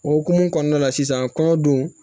O hukumu kɔnɔna la sisan kɔɲɔ don